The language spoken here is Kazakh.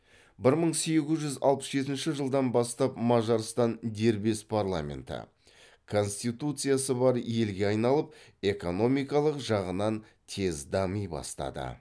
бір мың сегіз жүз алпыс жетінші жылдан бастап мажарстан дербес парламенті конституциясы бар елге айналып экономикалық жағынан тез дами бастады